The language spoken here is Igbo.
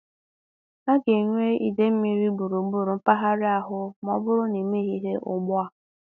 A ga-enwe idei mmiri gbụrụ-gbúrụ mpaghara ahụ ma ọ bụrụ na i meghị ihe ugbu a